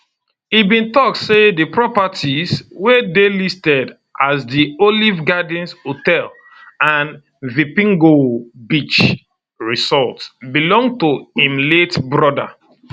e bin tok say di properties wey dey listed as di olive gardens hotel and vipingo beach resort belong to im late broda